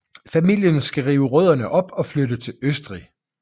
Familien skal rive rødderne op og flytte til Østrig